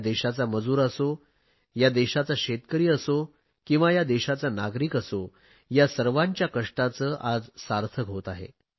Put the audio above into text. या देशाचा मजूर असो या देशाचा शेतकरी असो किंवा या देशाचा नागरिक असो या सर्वांच्या कष्टांचे आज सार्थक होते आहे